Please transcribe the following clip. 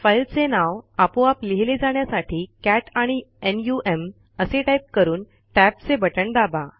फाईलचे नाव आपोआप लिहिले जाण्यासाठी कॅट आणि नम असे टाईप करून टॅबचे बटण दाबा